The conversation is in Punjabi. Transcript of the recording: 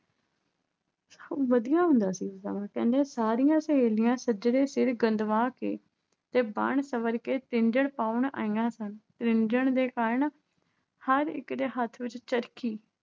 ਵਧੀਆ ਹੁੰਦਾ ਸੀ ਸਮਾਂ। ਕਹਿੰਦੇ ਸਾਰੀਆਂ ਸਹੇਲੀਆਂ ਸੱਜਰੇ ਸਿਰ ਗੁੰਦਵਾ ਕੇ ਤੇ ਬਣ ਸੰਵਰ ਕੇ ਤ੍ਰਿੰਝਣ ਪਾਉਣ ਆਈਆਂ ਸਨ। ਤ੍ਰਿੰਝਣ ਦੇ ਕਾਰਨ ਹਰ ਇੱਕ ਦੇ ਹੱਥ ਵਿੱਚ ਚਰਖੀ